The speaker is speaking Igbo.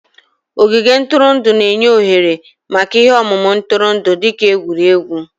Ogige ntụrụndụ na-enye ohere maka ihe omume ntụrụndụ dị ka egwuregwu